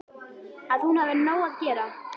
Að hún hafi nóg að gera.